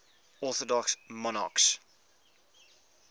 orthodox monarchs